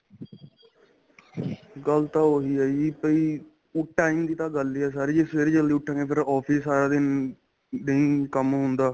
ਗੱਲ ਤਾਂ ਉਹੀ ਹੈ ਜੀ ਕਈ ਉਹ time ਦੀ ਤਾਂ ਗੱਲ ਹੈ ਸਾਰੀ ਜ਼ੇ ਸਵੇਰੇ ਜੱਲਦੀ ਉੱਠਾਗੇ ਫ਼ੇਰ office ਸਾਰਾ ਦਿਨ ਨਹੀਂ ਕੰਮ ਹੁੰਦਾ